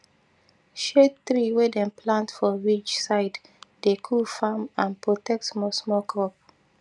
shade tree wey dem plant for ridge side dey cool farm and protect small small crop